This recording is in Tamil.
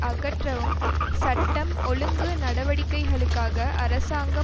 அகற்றவும் சட்டம் ஒழுங்கு நடவடிக்கைகளுக்காக அரசாங்கம்